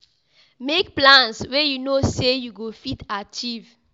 Make plans wey you know sey you go fit achieve